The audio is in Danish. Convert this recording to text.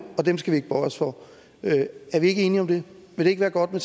og dem skal vi ikke bøje os for er vi ikke enige om det vil det ikke være godt med